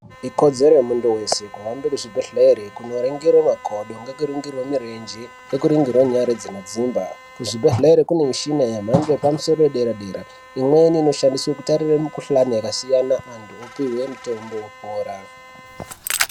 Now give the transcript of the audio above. Ikodzero yemuntu weshe kuhambe kuzvibhedhlera kunoringirwa makodo nekuringirwe mirenje nekuningirwe nyara dzinodzimba. Kuzvibhedhlere kune mishini yemhando yepamusoro yedera-dera. Imweni inoshandiswe kutarire mikhuhlane yakasiyana, antu opihwe mitombo vorapwa.